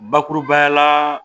Bakurubaya la